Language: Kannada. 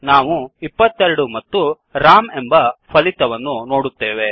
ನಾವು 22 ಮತ್ತು ರಾಮ್ ಎಂಬ ಫಲಿತವನ್ನು ನೋಡುತ್ತೇವೆ